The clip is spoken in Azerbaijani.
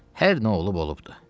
Hər nə olub olubdur.